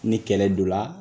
Ni kɛlɛ do la